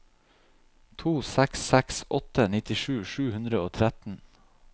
to seks seks åtte nittisju sju hundre og tretten